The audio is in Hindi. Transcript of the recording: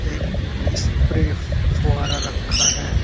एक स्प्रे फ़ुहारा रखा है।